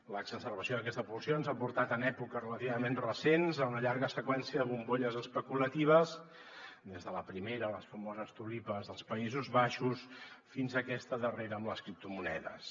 l’exacerbació d’aquesta pulsió ens ha portat en èpoques relativament recents a una llarga seqüència de bombolles especulatives des de la primera les famoses tulipes dels països baixos fins a aquesta darrera amb les criptomonedes